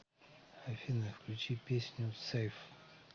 афина включи песню сэйф